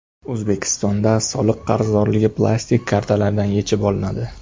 O‘zbekistonda soliq qarzdorligi plastik kartalardan yechib olinadi.